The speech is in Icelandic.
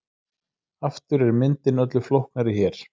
Aftur er myndin öllu flóknari hér.